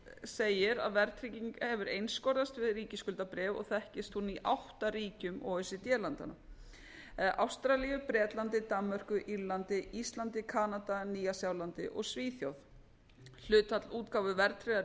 segir að verðtryggingin hafi einskorðast við ríkisskuldabréf og þekkist hún í átta ríkjum o e c d landanna ástralíu bretlandi danmörku írlandi íslandi kanada nýja sjálandi og svíþjóð hlutfall útgáfu verðtryggðra